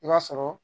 I b'a sɔrɔ